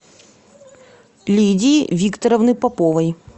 лидии викторовны поповой